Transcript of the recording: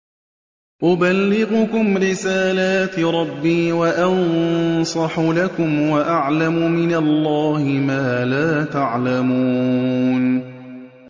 أُبَلِّغُكُمْ رِسَالَاتِ رَبِّي وَأَنصَحُ لَكُمْ وَأَعْلَمُ مِنَ اللَّهِ مَا لَا تَعْلَمُونَ